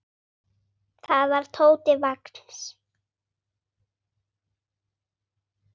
Það var Tóti Vagns.